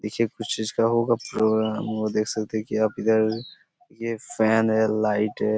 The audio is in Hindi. देखिये कुछ चीज का होगा प्रोग्राम और देख सकते है की आप इधर ये फैन है लाइट है।